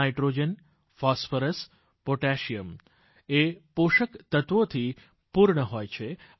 nitrogen phosphorus potassium એ પોષક તત્વોથી પૂર્ણ હોય છે